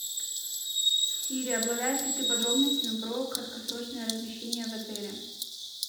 сири обладаешь ли ты подробностями про краткосрочное размещение в отеле